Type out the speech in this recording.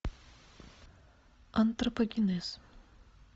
антропогенез